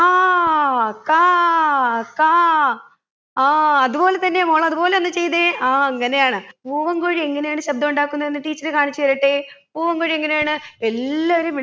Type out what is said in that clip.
കാ കാ കാ ആ അത് പോലെ തന്നെയാ മോള് അത് പോലെ ഒന്ന് ചെയ്തെ ആ അങ്ങനെയാന്ന് പൂവൻ കോഴി എങ്ങനെയാണ് ശബ്‌ദം ഉണ്ടാക്കുന്നത് എന്ന് teacher കാണിച്ച് തരട്ടെ പൂവൻ കോഴി എങ്ങനെയാണ് എല്ലാവരെയും